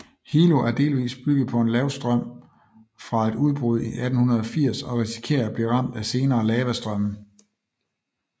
Hilo er delvis bygget på en lavastrøm fra et udbrud i 1880 og risikerer at blive ramt af senere lavastrømme